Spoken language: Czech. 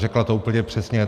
Řekla to úplně přesně.